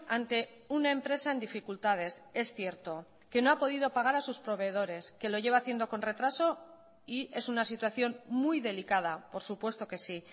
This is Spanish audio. ante una empresa en dificultades es cierto que no ha podido pagar a sus proveedores que lo lleva haciendo con retraso y es una situación muy delicada por supuesto que sí